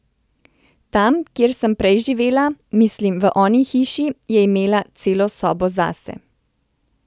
Tam, kjer sem prej živela, mislim, v oni hiši, je imela celo sobo zase.